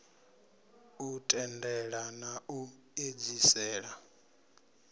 u tendelela na u edzisela